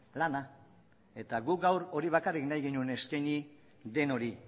lana eta guk gaur hori bakarrik nahi genuen eskaini denoi